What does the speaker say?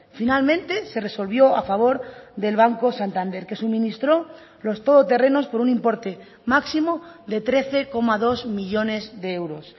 finalmente se resolvió a favor del banco santander que suministró los todoterrenos por un importe máximo de trece coma dos millónes de euros